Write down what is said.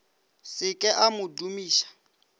se ke a mo dumiša